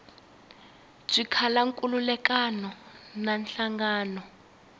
byi kala nkhulukelano na nhlangano